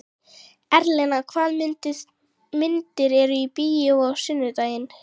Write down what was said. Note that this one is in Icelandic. Erlen, hvaða myndir eru í bíó á sunnudaginn?